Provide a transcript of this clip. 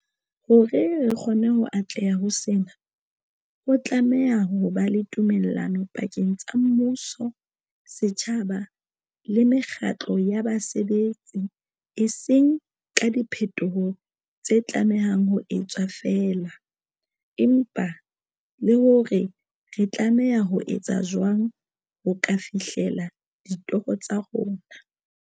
Hore re kgone ho atleha ho sena, ho tlameha ho ba le tumellano pakeng tsa mmuso, setjhaba le mekgatlo ya basebetsi, e seng ka diphetoho tse tlamehang ho etswa feela, empa le hore re tlameha ho etsa jwang ho ka fihlela ditoro tsa rona.